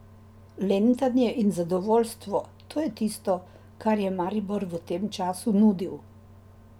Lentanje in zadovoljstvo, to je tisto, kar je Maribor v tem času nudil.